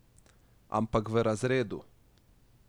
Ampak v razredu!